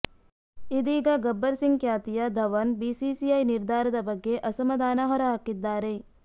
ಇದೀಗ ಗಬ್ಬರ್ ಸಿಂಗ್ ಖ್ಯಾತಿಯ ಧವನ್ ಬಿಸಿಸಿಐ ನಿರ್ಧಾರದ ಬಗ್ಗೆ ಅಸಮಧಾನ ಹೊರಹಾಕಿದ್ದಾರೆ